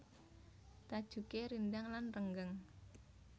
Tajuké rindhang lan renggang